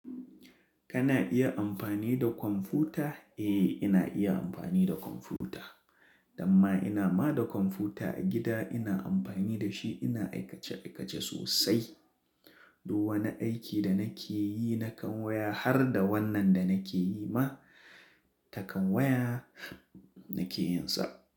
Kana iya amfani da kwamfuta? Eh, ina iya amfani da kwamfuta. Damma ina ma da kwamfuta a gida. Ina amfani da shi, ina aikace-aikace sosai. Duk wani aiki da nake yi nakan waya har da wannan da nake yi ma, ta kan waya nake yin sa.